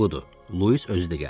Budur, Lewis özü də gəldi.